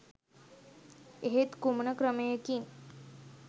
එහෙත් කුමන ක්‍රමයකින්